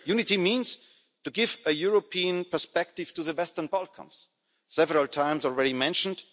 Unity means to give a European perspective to the Western Balkans, several times already mentioned.